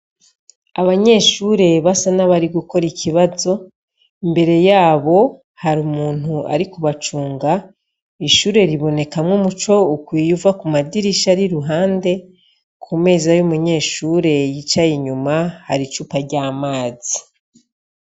Abanyeshure basa n'abari gukorikibazo, imbere yabo har'umuntu ari kubacunga ,ishure ribonekamwo umuco ukwiye uvakumadirish'ariruhande ,kumeza y'umunyeshure yicay'inyuma har'icupa ry'amazi.